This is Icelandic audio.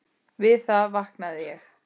Við það vaknaði ég.